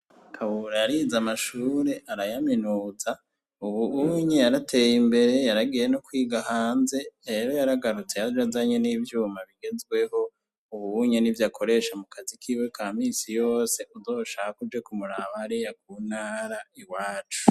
Kabura yarize amashure arayaminuza ubu unye yarateye imbere ubu unye yaragiye no kwiga hanze rero yaragarutse yaje azanye nivyuma bigezweho ubu unye nivyo akoresha mu kazi kiwe kaminsi yose uzoshake uje kumuraba hariya ku ntara iwacu